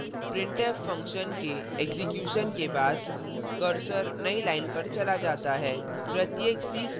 परिणामस्वरूप printf function के execution के बाद cursor नई line पर चला जाता है